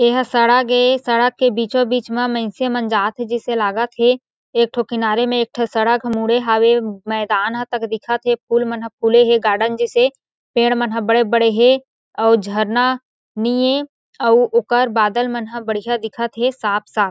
ये हा सड़क ए सड़क के बीचो-बीच म मइनसे मन ह जात हे जइसे लागत हें एक ठो किनारे म एक ठो सड़क ह मुड़े हावे मैदान ह तक दिखत हे फूल मन ह फूले हे गार्डन जइसे पेड़ मनह बड़े-बड़े हे आऊ झरना निम आऊ ओकर बादल मनह बढियाँ दिखत हे साफ़-साफ़--